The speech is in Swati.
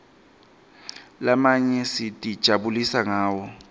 lamanye sitijabulisa ngawo